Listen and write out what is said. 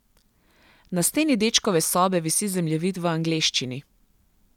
Na steni dečkove sobe visi zemljevid v angleščini.